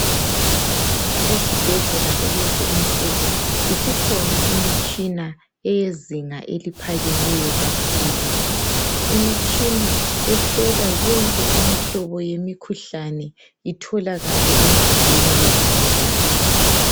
Ezibhedlela kulezi insuku isikhona imitshina eyezinga eliphakemeyo kakhulu, imitshina ehlola yonke imihlobo yemikhuhlane itholakale imzimbeni wesigulane.